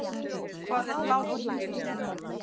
Hvað er hlátur?